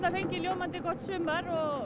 fengið ljómandi gott sumar og